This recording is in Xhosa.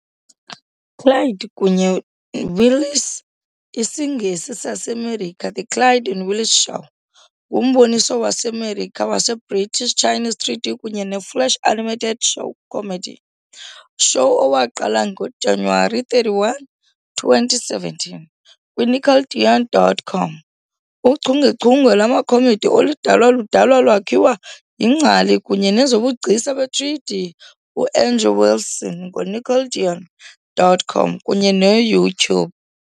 Clyde kunye Willis IsiNgesi sasemerika, The Clyde and Willis Show, ngumboniso waseMerika waseBritish Chinese 3D kunye ne-Flash animated show comedy show owaqala ngoJanuwari 31, 2017 kwiNickelodeon.com. Uchungechunge lwama comedy oludalwa ludalwa lwakhiwa yiNgcali kunye nezobugcisa be-3D, u-Andrew Wilson ngoNickelodeon.com kunye ne-YouTube.